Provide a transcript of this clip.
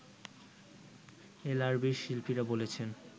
এল আর বি-র শিল্পীরা বলেছেন